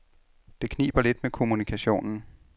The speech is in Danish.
Det kniber lidt med kommunikationen.